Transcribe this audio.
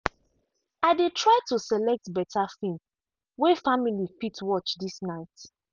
i dey try to select better film way family fit watch this night.